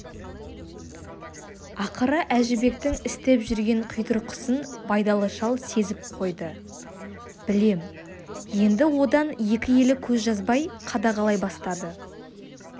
ақыры әжібектің істеп жүрген қитұрқысын байдалы шал сезіп қойды білем енді одан екі елі көз жазбай қадағалай бастады